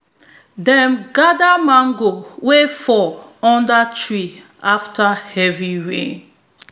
dem gather mango wey fall under tree after heavy rainfall